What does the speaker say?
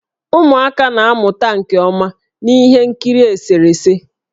Ụmụaka na-amụta nke ọma na ihe nkiri eserese.